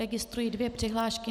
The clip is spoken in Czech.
Registruji dvě přihlášky.